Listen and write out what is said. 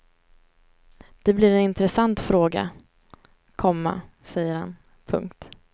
Det blir en intressant fråga, komma säger han. punkt